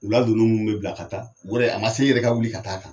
U la dunnun minnu bɛ bila ka taa o yɛrɛ a man se i yɛrɛ ka wuli ka taa kan.